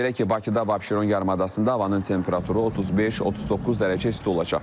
Belə ki, Bakıda və Abşeron yarımadasında havanın temperaturu 35-39 dərəcə isti olacaq.